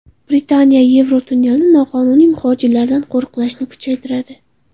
Britaniya Yevrotunnelni noqonuniy muhojirlardan qo‘riqlashni kuchaytiradi.